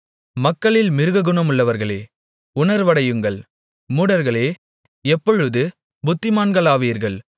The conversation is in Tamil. மக்களில் மிருககுணமுள்ளவர்களே உணர்வடையுங்கள் மூடர்களே எப்பொழுது புத்திமான்களாவீர்கள்